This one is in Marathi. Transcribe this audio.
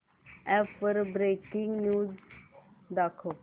अॅप वर ब्रेकिंग न्यूज दाखव